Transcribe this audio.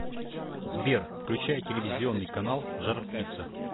сбер включай телевизионный канал жар птица